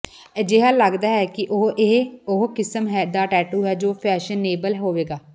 ਅਜਿਹਾ ਲਗਦਾ ਹੈ ਕਿ ਇਹ ਉਹ ਕਿਸਮ ਦਾ ਟੈਟੂ ਹੈ ਜੋ ਹਮੇਸ਼ਾਂ ਫੈਸ਼ਨੇਬਲ ਹੋਵੇਗਾ